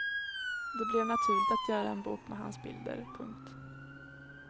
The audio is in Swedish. Det blev naturligt att göra en bok med hans bilder. punkt